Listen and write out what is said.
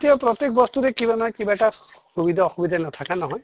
এতিয়া প্ৰত্য়েক বস্তুৰে কিবা নহয় কিবা এটা সুবিধা অসুবিধা নথকা নহয়